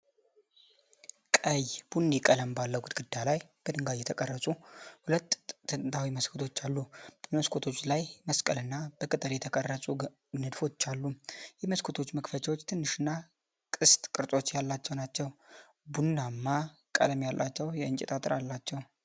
ቀይ-ቡኒ ቀለም ባለው ግድግዳ ላይ በድንጋይ የተቀረጹ ሁለት ጥንታዊ መስኮቶች አሉ። በመስኮቶቹ ላይ መስቀልና በቅጠል የተቀረጹ ንድፎች አሉ። የመስኮቶቹ መክፈቻዎች ትንሽና ቅስት ቅርጽ ያላቸው ሲሆን፣ ቡናማ ቀለም ያላቸው የእንጨት አጥር አላቸው።